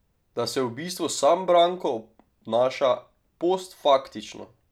Da se v bistvu sam Branko obnaša postfaktično.